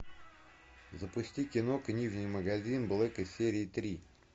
запусти кино книжный магазин блэка серия три